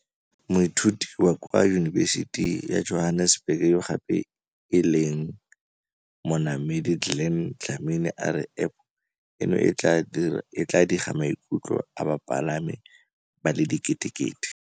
Moithuti wa kwa Yunibesiti ya Johannesburg yo gape e leng monamedi Glen Dlamini a re App eno e tla diga maikutlo a bapalami ba le diketekete.